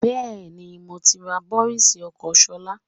Bẹ́ẹ̀ni, moti rà bọ́rìs ọkọ́ Ṣọlá